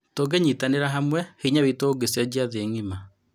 Tũngĩnyitanĩra hamwe, hinya witũ ingĩcenjia thĩ ng'ima.